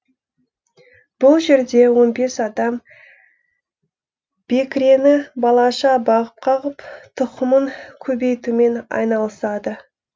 бұл жерде он бес адам бекірені балаша бағып қағып тұқымын көбейтумен айналысады